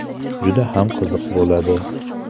Juda ham qiziq bo‘ladi!